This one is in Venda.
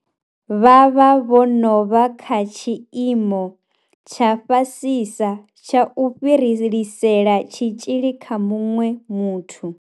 Vha vha vho no vha kha tshiimo tsha fhasisa tsha u fhirisela tshitzhili kha muṅwe muthu.